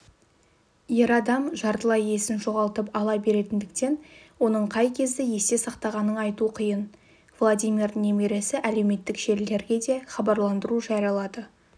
ер адам жартылай есін жоғалтып ала беретіндіктен оның қай кезді есте сақтағанын айту қиын владимирдің немересі әлеуметтік желілерге де хабарландыру жариялады